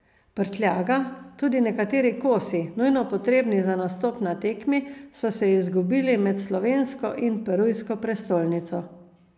Prtljaga, tudi nekateri kosi, nujno potrebni za nastop na tekmi, so se izgubili med slovensko in perujsko prestolnico.